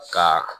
Ka